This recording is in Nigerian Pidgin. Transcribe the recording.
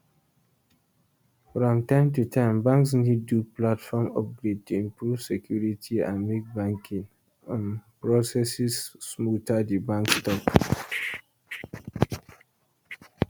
from time to time banks need do platform upgrade to improve security and make banking um processes smoother di banks tok